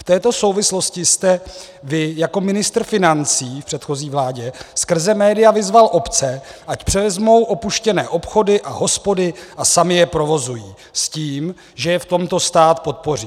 V této souvislosti jste vy jako ministr financí v předchozí vládě skrze média vyzval obce, ať převezmou opuštěné obchody a hospody a samy je provozují s tím, že je v tomto stát podpoří.